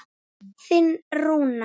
Þinn Rúnar.